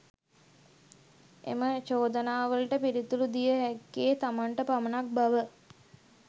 එම චෝදනාවලට පිළිතුරු දිය හැක්කේ තමන්ට පමණක් බව